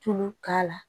Tulu k'a la